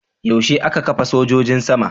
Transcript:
Yaushe aka kafa sojojin sama?